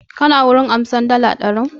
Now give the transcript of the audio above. Ka na gun ansan dala ɗarin?